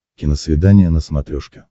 киносвидание на смотрешке